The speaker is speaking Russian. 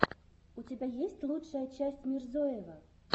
у тебя есть лучшая часть мирзоева